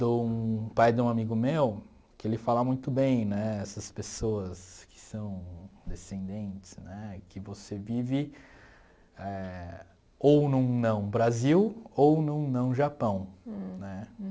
do pai de um amigo meu, que ele fala muito bem, né, essas pessoas que são descendentes, né, que você vive eh ou num não Brasil ou num não Japão, né.